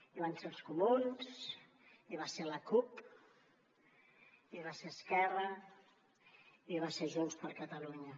hi van ser els comuns hi va ser la cup hi va ser esquerra i hi va ser junts per catalunya